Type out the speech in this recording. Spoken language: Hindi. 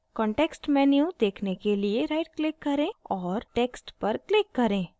context menu देखने के लिए rightclick करें और text पर click करें